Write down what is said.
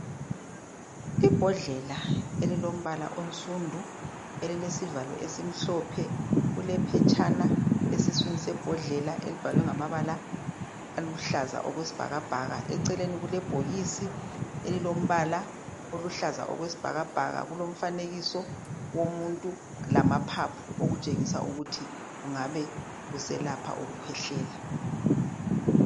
Imbodlela elilombala onsundu elilesivalo esimhlophe kulephetshana esiswini sembodlela elibhalwe ngamabala aluhlaza okwesibhakabhaka eceleni kulebhokisi elilombala oluhlaza okwesibhakabhaka kulomfanekiso womuntu lamaphaphu okutshengisa ukuthi ungabe uselapha ukukhwehlela.